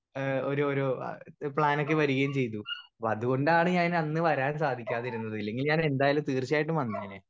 speaker 1 ഏഹ് ഒരു ഒരു എഹ് പ്ലാനൊക്കെ വരുകയും ചെയ്തു അപ്പൊ അതുകൊണ്ടാണ് ഞാൻ അന്ന് വരാൻ സാധിക്കാതിരുന്നത് ഇല്ലെങ്കിൽ ഞാൻ എന്തായാലും തീർച്ചായിട്ടും വന്നേനെ